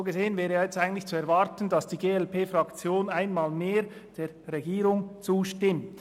So gesehen wäre es eigentlich zu erwarten, dass die glp-Fraktion einmal mehr der Regierung zustimmt.